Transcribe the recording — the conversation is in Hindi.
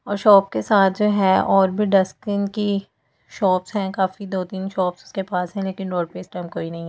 और शॉप के साथ जो है और भी डस्टबिन की शॉप्स हैं काफी दो तीन शॉप्स इसके पास है लेकिन रोड पे इस टाइम कोई नहीं है।